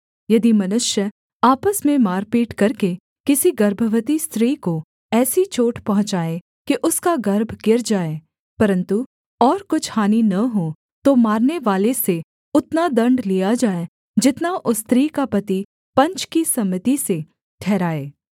यदि मनुष्य आपस में मारपीट करके किसी गर्भवती स्त्री को ऐसी चोट पहुँचाए कि उसका गर्भ गिर जाए परन्तु और कुछ हानि न हो तो मारनेवाले से उतना दण्ड लिया जाए जितना उस स्त्री का पति पंच की सम्मति से ठहराए